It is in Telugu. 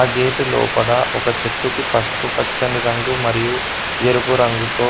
ఆ గేటు లోపడ ఒక చెట్టుకి పస్పు పచ్చని రంగు మరియు ఎరుపు రంగుతో